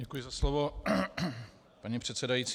Děkuji za slovo, paní předsedající.